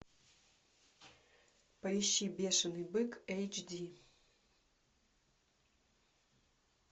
поищи бешеный бык эйч ди